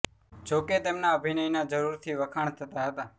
જો કે તેમના અભિનયના જરૂર થી વખાણ થતાં હતા